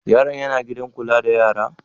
Yaron yana gidan kula da yara?